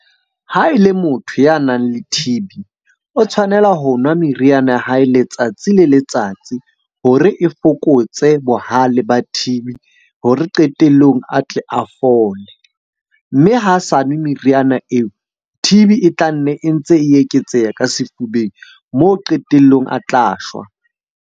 Ha e le motho ya nang le T_B, o tshwanela ho nwa meriana ya hae letsatsi le letsatsi hore e fokotse bohale ba T_B, hore qetellong a tle a fole. Mme ha sa nwe meriana eo, T_B e tla nne e ntse e eketseha ka sefubeng. Moo qetelllong a tla shwa.